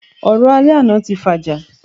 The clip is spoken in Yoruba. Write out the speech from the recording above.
Ọ̀rọ̀ alẹ́ àná tí fàjà